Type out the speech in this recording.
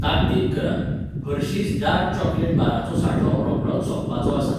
ताकतीक करात, हर्शिज डार्क चॉकलेट बाराचो सांठो रोखडोच सोंपपाचो आसा